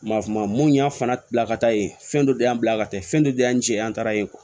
Ma fama mun y'an fana bila ka taa ye fɛn dɔ de y'an bila ka taa fɛn dɔ de y'an cɛ an taara yen